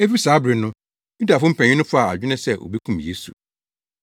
Efi saa bere no, Yudafo mpanyin no faa adwene sɛ wobekum Yesu.